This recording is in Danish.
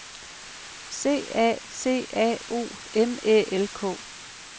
C A C A O M Æ L K